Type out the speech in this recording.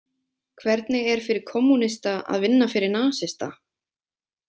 Hvernig er fyrir kommúnista að vinna fyrir nasista?